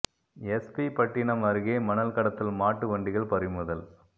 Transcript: S P Pattinam அருகே மணல் கடத்தல் மாட்டு வண்டிகள் பறிமுதல்